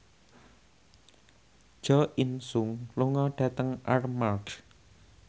Jo In Sung lunga dhateng Armargh